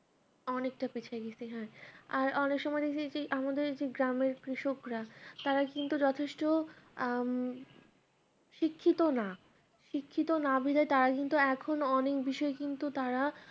অনেকটাই পিছায়ে গেছি হ্যাঁ আর অনেক সময় দেখতেছি আমাদের যে গ্রামের কৃষকরা তারা কিন্তু যথেষ্ট আহ শিক্ষিত না শিক্ষিত না বলে তারা কিন্তু এখনো অনেক বিষয় কিন্তু তারা